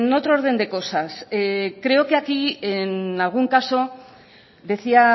otro orden de cosas creo que aquí en algún caso decía